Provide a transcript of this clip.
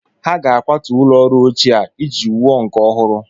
Ha ga-akwatu ụlọ ọrụ ochie a iji wuo nke ọhụrụ